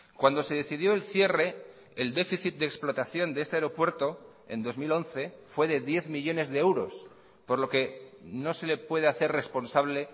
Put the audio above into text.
cuando se decidió el cierre el déficit de explotación de este aeropuerto en dos mil once fue de diez millónes de euros por lo que no se le puede hacer responsable